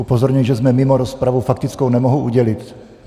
Upozorňuji, že jsme mimo rozpravu, faktickou nemohu udělit.